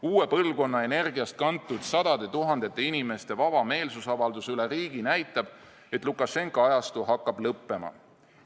Uue põlvkonna energiast kantud sadade tuhandete inimeste vaba meelsusavaldus üle riigi näitab, et Lukašenka ajastu hakkab lõppema.